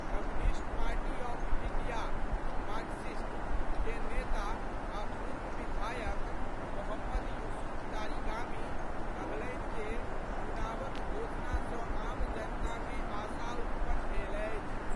Communist party of India (Marxist) के नेता आ पूर्व विधायक मोहम्मद यूसुफ तारिगामी कहलनि जे, चुनावक घोषणा सं आम जनता मे आशा उत्पन्न भेल अछि।